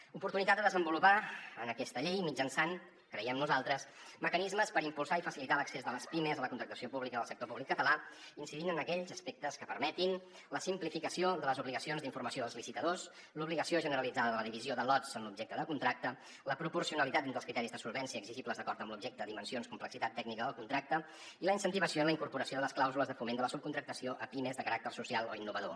una oportunitat de desenvolupar aquesta llei mitjançant creiem nosaltres mecanismes per impulsar i facilitar l’accés de les pimes a la contractació pública del sector públic català incidint en aquells aspectes que permetin la simplificació de les obligacions d’informació als licitadors l’obligació generalitzada de la divisió de lots amb l’objecte de contracte la proporcionalitat dins dels criteris de solvència exigibles d’acord amb l’objecte dimensions i complexitat tècnica del contracte i la incentivació en la incorporació de les clàusules de foment de la subcontractació a pimes de caràcter social o innovador